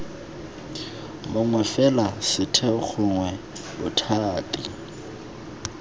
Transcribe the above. mongwe fela setheo gongwe bothati